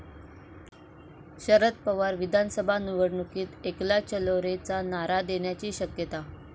शदर पवार विधानसभा निवडणुकीत 'एकला चालो रे'चा नारा देण्याची शक्यता